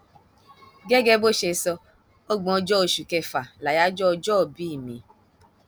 gẹgẹ bó ṣe sọ ọgbọnjọ oṣù kẹfà láyájọ ọjọòbí mi